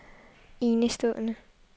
enestående